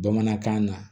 Bamanankan na